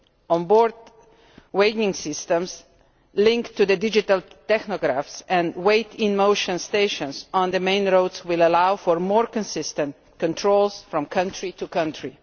On board weighing systems linked to digital tachographs and weigh-in-motion stations on the main roads will allow for more consistent checks from country to country.